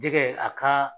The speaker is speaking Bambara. Jɛgɛ a ka